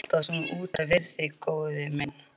Ertu alltaf svona utan við þig, góði minn?